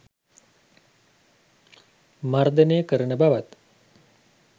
මර්ධනය කරන බවත්